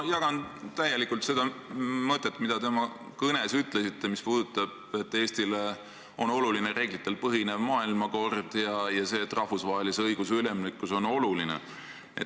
Ma jagan täielikult seda mõtet, mida te oma kõnes väljendasite, et Eestile on oluline reeglitel põhinev maailmakord ja et ka rahvusvahelise õiguse ülimuslikkus on oluline.